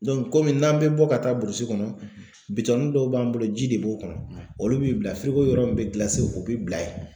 komi n'an be bɔ ka taa burusi kɔnɔ bitɔnin dɔw b'an bolo ji de b'o kɔnɔ olu bi bila yɔrɔ min be o be bila ye.